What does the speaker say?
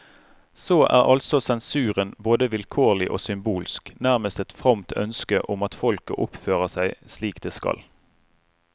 Så er altså sensuren både vilkårlig og symbolsk, nærmest et fromt ønske om at folket oppfører seg slik det skal.